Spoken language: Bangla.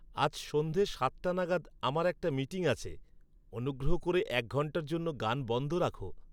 আজ সন্ধ্যে সাতটা নাগাদ আমার একটা মিটিং আছে। অনুগ্রহ ক'রে এক ঘন্টার জন্য গান বন্ধ রাখো